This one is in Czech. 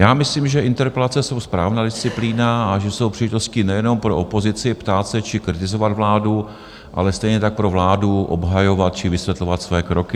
Já myslím, že interpelace jsou správná disciplína a že jsou příležitosti nejenom pro opozici, ptát se či kritizovat vládu, ale stejně tak pro vládu obhajovat či vysvětlovat své kroky.